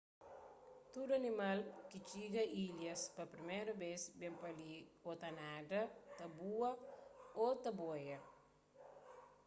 tudu animal ki txiga ilhas pa priméru bês ben pa li ô ta nada ta bua ô ta boia